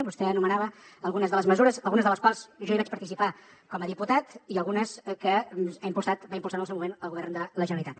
vostè anomenava algunes de les mesures algunes de les quals jo hi vaig participar com a diputat i algunes que va impulsar en el seu moment el govern de la generalitat